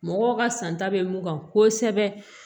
Mɔgɔw ka santa bɛ mun kan kosɛbɛ